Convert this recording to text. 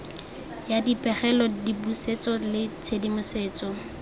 ya dipegelo dipusetso le tshedimosetso